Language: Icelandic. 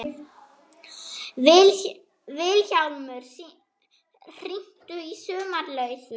Vilhjálmur, hringdu í Sumarlausu.